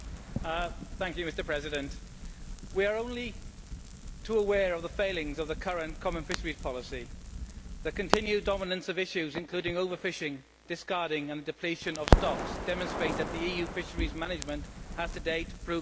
Mr President, we are only too aware of the failings of the current common fisheries policy. The continued dominance of issues including over fishing, discarding and depletion of stocks, demonstrate that the EU's fisheries management has to date proved ineffective.